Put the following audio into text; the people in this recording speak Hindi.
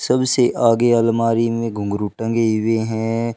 सबसे आगे अलमारी में घुंघरू टंगी हुए हैं।